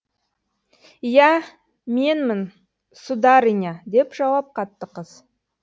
иә менмін сударыня деп жауап қатты қыз